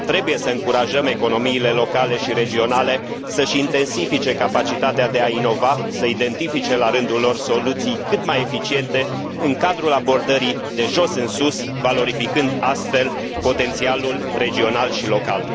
Trebuie să încurajăm economiile locale și regionale să și intensifice capacitatea de a inova, să identifice, la rândul lor, soluții cât mai eficiente în cadrul abordării de jos în sus, valorificând, astfel, potențialul regional și local.